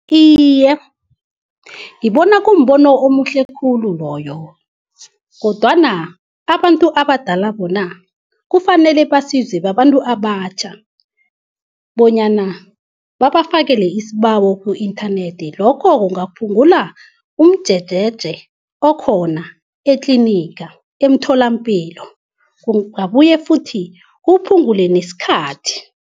Iye, ngibona kumbono omuhle khulu loyo. Kodwana abantu abadala bona kufanele basizwe babantu abatjha bonyana babafakele isibawo ku-inthanethi. Lokho kungaphungula umjejeje okhona etliniga, emtholampilo. Kungabuye futhi kuphungule nesikhathi.